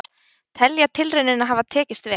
Telja tilraunina hafa tekist vel